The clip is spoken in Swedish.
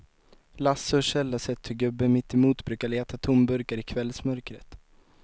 Lasse och Kjell har sett hur gubben mittemot brukar leta tomburkar i kvällsmörkret.